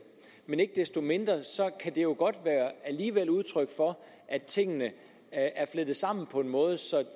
men ikke desto mindre kan det jo alligevel udtryk for at tingene er flettet sammen på en måde så